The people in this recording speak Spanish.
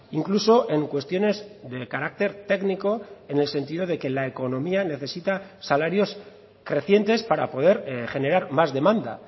incluso en cuestiones de carácter técnico en el sentido de que la economía necesita salarios crecientes para poder generar más demanda